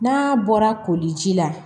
N'a bɔra koliji la